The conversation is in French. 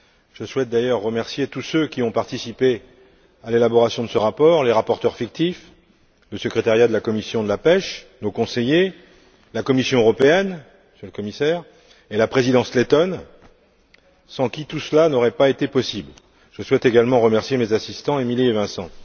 Je souhaite également remercier tous ceux qui ont participé à l'élaboration de ce rapport les rapporteurs fictifs, le secrétariat de la commission de la pêche, nos conseillers, la Commission européenne Monsieur le Commissaire et la présidence lettone, sans qui tout cela n'aurait pas été possible. Je souhaite également remercier mes assistants, Émilie et Vincent.